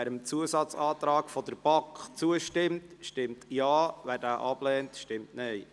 Wer dem Antrag der BaK zustimmt, stimmt Ja, wer diesen ablehnt, stimmt Nein.